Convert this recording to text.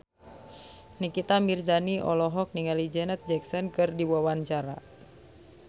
Nikita Mirzani olohok ningali Janet Jackson keur diwawancara